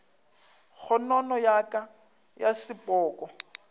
kgonono ya ka ya sepoko